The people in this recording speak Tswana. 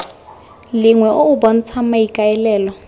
lengwe o o bontshang maikaelelo